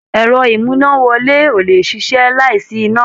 Ẹ̀rọ-ìmúnáwọlé ò lè ṣiṣẹ́ láìsí iná.